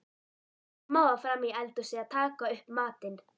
Mamma var frammí eldhúsi að taka upp matinn.